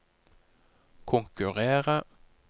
konkurrere